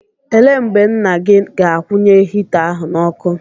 Ele mgbe nna gị ga-akwụnye hita ahụ n'ọkụ?